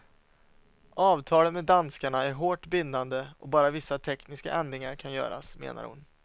Avtalet med danskarna är hårt bindande och bara vissa tekniska ändringar kan göras, menar hon.